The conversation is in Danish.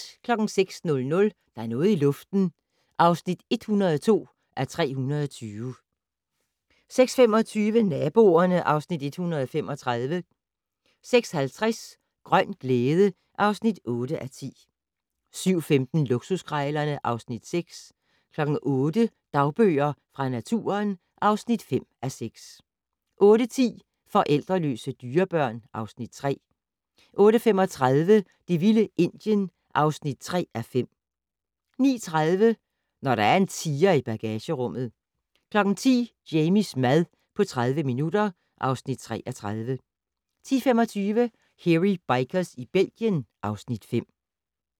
06:00: Der er noget i luften (102:320) 06:25: Naboerne (Afs. 135) 06:50: Grøn glæde (8:10) 07:15: Luksuskrejlerne (Afs. 6) 08:00: Dagbøger fra naturen (5:6) 08:10: Forældreløse dyrebørn (Afs. 3) 08:35: Det vilde Indien (3:5) 09:30: Når der er en tiger i bagagerummet 10:00: Jamies mad på 30 minutter (Afs. 33) 10:25: Hairy Bikers i Belgien (Afs. 5)